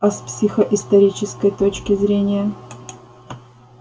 а с психоисторической точки зрения